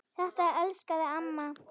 Þetta elskaði amma.